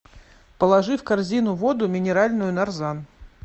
положи в корзину воду минеральную нарзан